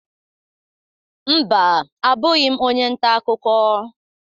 Mba, abụghị m onye nta akụkọ.